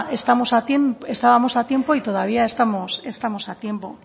estábamos a tiempo y todavía estamos a tiempo